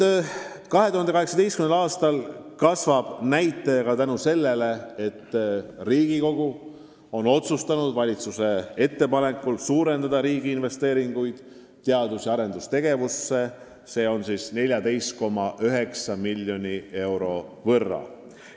Aga 2018. aastal kasvab see näitaja ka tänu sellele, et Riigikogu on otsustanud valitsuse ettepanekul suurendada riigi investeeringuid teadus- ja arendustegevusse 14,9 miljoni euro võrra.